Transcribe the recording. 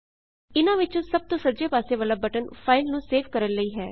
ਇਨਾਂ ਵਿੱਚੋਂ ਸਭ ਤੋਂ ਸੱਜੇ ਪਾਸੇ ਵਾਲਾ ਬਟਨ ਫਾਇਲ ਨੂੰ ਸੇਵ ਕਰਨ ਲਈ ਹੈ